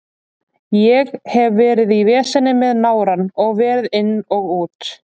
Ég hef verið í veseni með nárann og verið inn og út.